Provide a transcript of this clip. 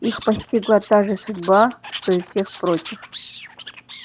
их постигла та же судьба что и всех прочих